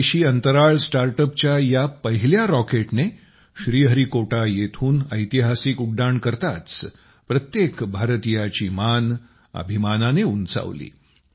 स्वदेशी अंतराळ स्टार्ट अपच्या या पहिल्या रॉकेटने श्रीहरिकोटा येथून ऐतिहासिक उड्डाण करताच प्रत्येक भारतीयाचे शिर अभिमानाने उंचावले